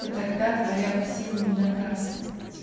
то тогда твои опасения не напрасны